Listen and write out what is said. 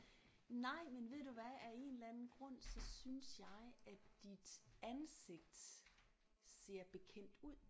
Nej men ved du hvad af en eller anden grund så synes jeg at dit ansigt ser bekendt ud